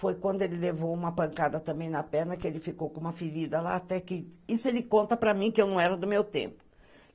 Foi quando ele levou uma pancada também na perna, que ele ficou com uma ferida lá, até que... Isso ele conta para mim, que eu não era do meu tempo.